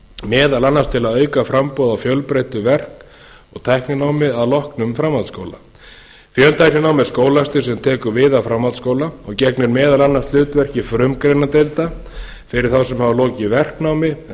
meðal annars til að auka framboð á fjölbreyttu verk og tækninámi að loknum framhaldsskóla fjöltækninám er skólastig sem tekur við af framhaldsskóla og gegnir meðal annars hlutverki frumgreinadeilda fyrir þá sem hafa lokið verknámi eða